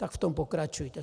Tak v tom pokračujte.